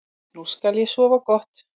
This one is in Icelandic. Nú skal ég sofa gott.